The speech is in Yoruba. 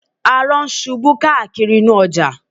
Arọ ń ṣubú káàkiri inú ọjà